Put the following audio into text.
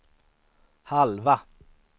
halva